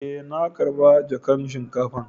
Eh, na karba jakan shinkafan.